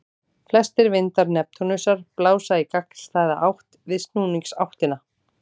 Flestir vindar Neptúnusar blása í gagnstæða átt við snúningsáttina.